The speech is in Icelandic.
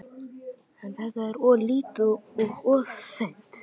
En er þetta of lítið og of seint?